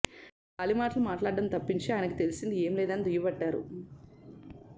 గాలి మాటలు మాట్లాడటం తప్పించి ఆయనకు తెలిసింది ఏం లేదని దుయ్యబట్టారు